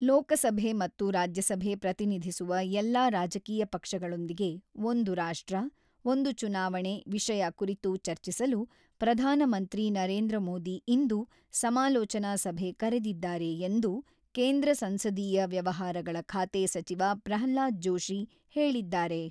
ಲೋಕಸಭೆ ಮತ್ತು ರಾಜ್ಯಸಭೆ ಪ್ರತಿನಿಧಿಸುವ ಎಲ್ಲ ರಾಜಕೀಯ ಪಕ್ಷಗಳೊಂದಿಗೆ ಒಂದು ರಾಷ್ಟ್ರ, ಒಂದು ಚುನಾವಣೆ ವಿಷಯ ಕುರಿತು ಚರ್ಚಿಸಲು, ಪ್ರಧಾನಮಂತ್ರಿ ನರೇಂದ್ರ ಮೋದಿ ಇಂದು ಸಮಾಲೋಚನಾ ಸಭೆ ಕರೆದಿದ್ದಾರೆ ಎಂದು ಕೇಂದ್ರ ಸಂಸದೀಯ ವ್ಯವಹಾರಗಳ ಖಾತೆ ಸಚಿವ ಪ್ರಹ್ಲಾದ್ ಜೋಶಿ ಹೇಳಿದ್ದಾರೆ.